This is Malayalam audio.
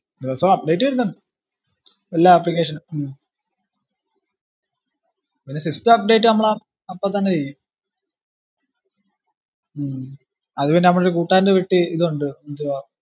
ദിവസോം update വരുന്നുണ്ട് എല്ലാ application ഉ ഉം പിന്ന system update നമ്മളാ അപ്പൊ തന്നെ ചെയ്യും ഉം അത് പിന്നെ നമ്മളെ കൂട്ടുകാരന്റെ വീട്ടി ഇത് ഉണ്ട് എന്തുവാ